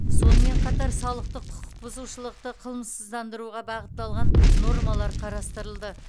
сонымен қатар салықтық құқық бұзушылықты қылмыссыздандыруға бағытталған нормалар қарастырылды